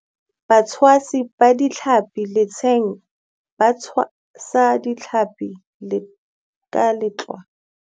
Batshwasi ba ditlhapi letsheng ba tshwasa ditlhapi ka letloa.